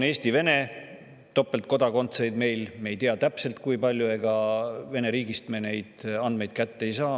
Me ei tea täpselt, kui palju meil on Eesti-Vene topeltkodakondseid, sest ega Vene riigist me neid andmeid kätte ei saa.